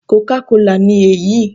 Coca cola' ni èyí